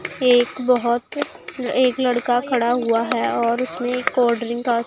एक बहोत एक लड़का खड़ा हुआ है और उसमें कोल्ड ड्रिंक का--